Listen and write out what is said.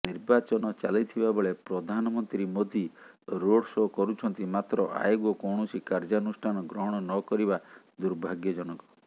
ନିର୍ବାଚନ ଚାଲିଥିବାବେଳେ ପ୍ରଧାନମନ୍ତ୍ରୀ ମୋଦି ରୋଡଶୋ କରୁଛନ୍ତି ମାତ୍ର ଆୟୋଗ କୌଣସି କାର୍ଯ୍ୟାନୁଷ୍ଠାନ ଗ୍ରହଣ ନ କରିବା ଦୂର୍ଭାଗ୍ୟଜନକ